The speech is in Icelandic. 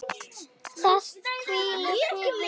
Það hvílir friður yfir öllu.